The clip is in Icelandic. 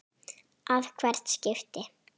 að hvert skipti.